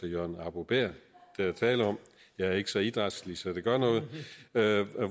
jørgen arbo bæhr der er tale om jeg er ikke så idrætslig så det gør noget